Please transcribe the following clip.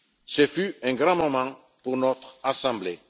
Ce fut un grand moment pour notre Assemblée.